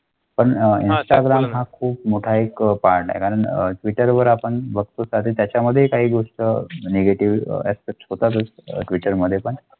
ना खूप मोठा एक वाडा. कारण मीटर वर आपण बघतोसाठी त्याच्यामध्ये काही गोष्ट निघते स्विचमध्ये.